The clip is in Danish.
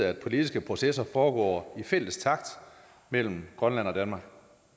at politiske processer foregår i fælles takt mellem grønland og danmark